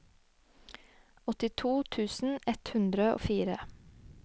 åttito tusen ett hundre og fire